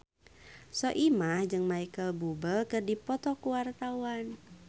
Soimah jeung Micheal Bubble keur dipoto ku wartawan